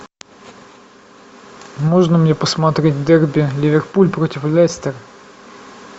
можно мне посмотреть дерби ливерпуль против лестер